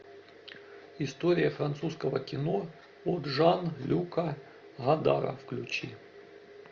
история французского кино от жан люка годара включи